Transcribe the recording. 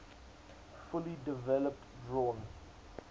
fully developed drawn